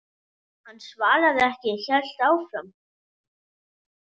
Hann svaraði ekki, hélt áfram.